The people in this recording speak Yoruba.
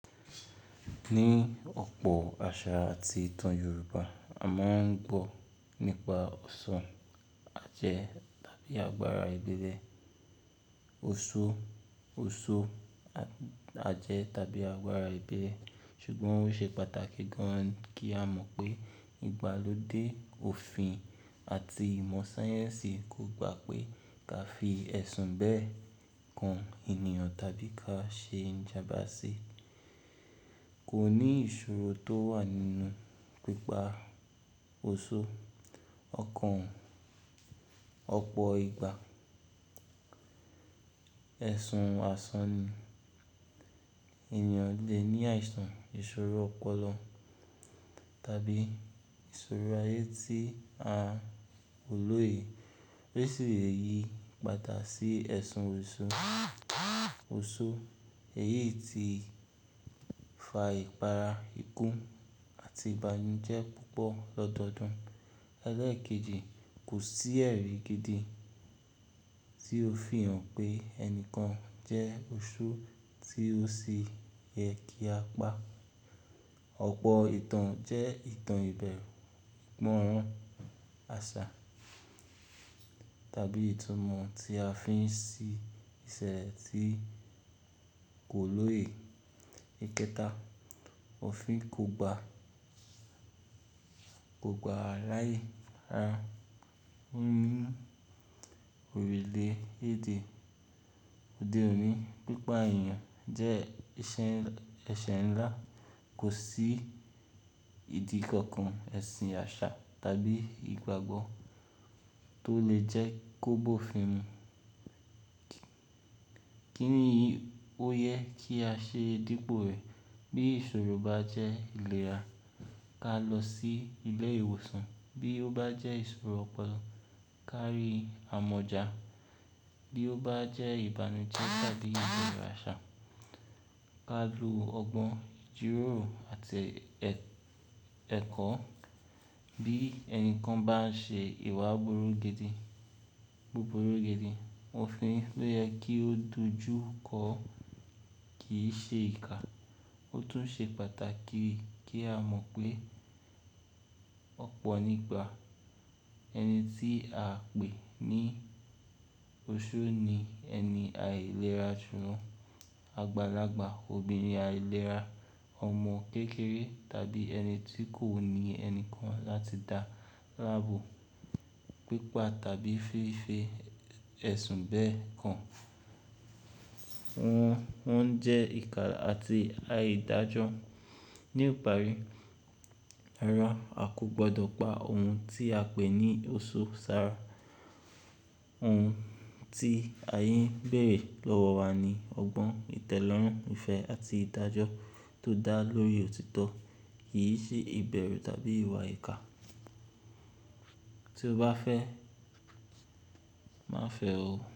Ní ọ̀pọ̀ àṣà àti ìtàn Yorùbá, a máa ń gbọ́ nípa ọ̀sán, ajẹ́ tàbí agbára ìbẹ̀rẹ̀. Oṣó, oṣó ajẹ́ tàbí agbára ìbẹ̀rẹ̀. Ṣùgbọ́n ó ṣe pàtàkì gan-an kí á mọ̀ pé ìgbálódé òfin àti ìmọ̀ sáyẹ́nsì kò gbà pé ká fi ẹ̀sùn bẹ́ẹ̀ kàn ènìyàn tàbí ká ṣe ijàmba sí. Kò ní ìṣòro tó wà nínú pípa oṣó, ọkàn, ọ̀pọ̀ ìgbà, ẹ̀sùn àsán ni. Ẹ̀yàn le ní àìsàn ìṣòro ọpọlọ tàbí ìṣòro ayé tí a ò lóye, tí ó sì le yí padà sí ẹ̀sùn oṣó. Oṣó, èyí ti fa ìpara, ikú àti ìbànújẹ́ púpọ̀ lọ́dọọdún. Ẹlẹ́̀kejì, kò sí ẹ̀rí gidi tí ó fi hàn pé ẹnìkan jẹ́ oṣó tí ó sì yẹ kí a pa. Ọ̀pọ̀ ìtàn jẹ́ ìtàn ìbẹ̀rù, ìmọ̀ràn, àṣà tàbí ìtumọ̀ tí a fi ń ṣí ìṣẹ̀ tí kò lóye. Ìkẹta, òfin kò gba, kò gba láyè. Nínu òrùlé èdè òde òní, pípa èèyàn jẹ́ ẹ̀ṣẹ̀ ńlá. Kò sí ìdí kankan, ẹ̀sìn àṣà tàbí ìgbàgbọ́ tó lè jẹ́ kó bófin mu. Kí ni èyí ó yẹ kí á ṣe dípò rẹ̀? Bí ìṣòro bá jẹ́ ìlera, ká lọ sí ilé ìwòsàn. Bí ó bá jẹ́ ìṣòro ọpọlọ, ká rí amọ̀jà. Bí ó bá jẹ́ ìbànújẹ́ tàbí ìjọ ìràṣà, ká lo ọgbọ́n, jíròrò àti ẹ̀kọ́. Bí ẹnìkan bá ń ṣe ìwà búburú gidi, òfin ló yẹ kí ó dojú kọọ́, kì í ṣe ìkà. Ó tún ṣe pàtàkì kí á mọ̀ pé ọ̀pọ̀ nígbà ẹni tí à ń pè ní oṣó ni ẹni àìlera run, àgbàlagbà, obìnrin àìlera, ọmọ kékeré tàbí ẹni tí kò ní ẹni kan láti dá láàbò pípa tàbí fìfi ẹ̀sùn bẹ́ẹ̀ kan. Wọ́n jẹ́ ìkà àti àìdájọ́. Ní ìparí, àrà á kò gbọdọ̀ pa òun tí a pè ní oṣó sára. Ohun tí ààyè ń bèrè lọ́wọ́ wa ni ọgbọ́n, ìtẹ́lọ́rùn, ìfẹ́ àti ìdájọ́ tó dá lórí òtítọ́, kì í ṣe ìbẹ̀rù tàbí ìwà ìkà. Tí ó bá fẹ́, má fẹ́ o.